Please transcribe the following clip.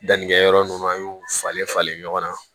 Dannikɛyɔrɔ n'u an y'u falen falen ɲɔgɔn na